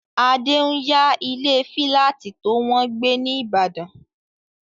Adé n yá ilé fílátì tó wọ́n gbé ní ìbàdàn